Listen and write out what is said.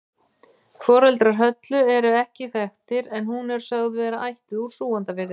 Foreldrar Höllu eru ekki þekktir en hún er sögð vera ættuð úr Súgandafirði.